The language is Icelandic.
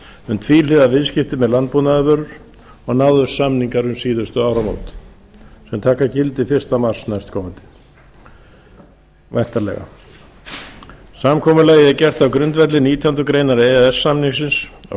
um tvíhliða viðskipti með landbúnaðarvörur og náðust samningar um síðastliðin áramót sem taka gildi fyrsta mars næstkomandi samkomulagið er gert á grundvelli nítjánda grein e e s samningsins sem